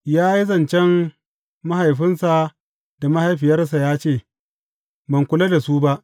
Ya yi zancen mahaifinsa da mahaifiyarsa ya ce, Ban kula da su ba.’